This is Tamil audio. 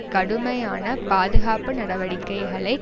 கடுமையான பாதுகாப்பு நடவடிக்கைகளை